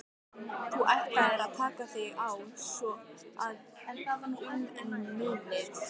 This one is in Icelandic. Þú ætlaðir að taka þig á svo að um munaði.